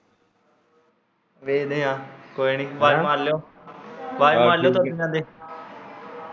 ਵੇਖਦੇ ਆਂ ਕੋਈ ਨੀ ਆਵਾਜ ਮਾਰ ਲਿਉ ਆਵਾਜ ਮਾਰ ਲਿਉ ਤੁਰਦੇ ਫਿਰਦੇ